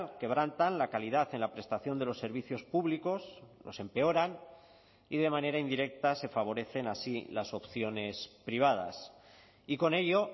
quebrantan la calidad en la prestación de los servicios públicos los empeoran y de manera indirecta se favorecen así las opciones privadas y con ello